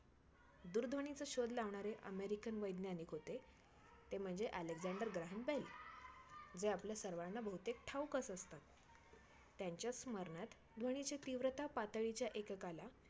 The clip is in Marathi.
तरीयी त्या सर्वांना बांधणारा एक दैव असच प्रत प्रत्येकात असतो. संकट आली, दुःख भोगावी लागली तरी माणसांनी धीर सोडू नये. न घाबरता त्यांना सामोरे जावे. आपले दुःखाला सम समजून ज्यांची~